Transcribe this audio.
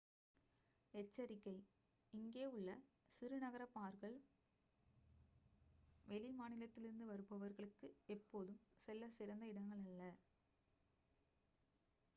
எச்சரிக்கை இங்கே உள்ள சிறு நகர பார்கள் வெளி மாநிலத்திலிருந்து வருபவர்களுக்கு எப்போதும் செல்லச் சிறந்த இடங்கள் அல்ல